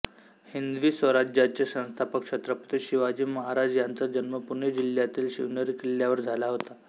हिंदवी स्वराज्याचे संस्थापक छत्रपती शिवाजी महाराज यांचा जन्म पुणे जिल्ह्यातील शिवनेरी किल्ल्यावर झाला होता